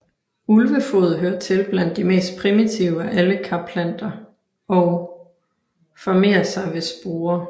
Ulvefod hører til blandt de mest primitive af alle Karplanter og formerer sig ved sporer